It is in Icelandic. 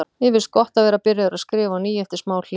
Mér finnst gott að vera byrjaður að skrifa á ný eftir smá hlé.